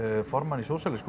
formann í